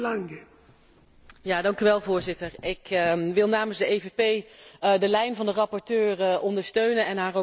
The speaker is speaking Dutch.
Voorzitter, ik wil namens de PPE de lijn van de rapporteur ondersteunen en haar ook van harte bedanken voor haar werk.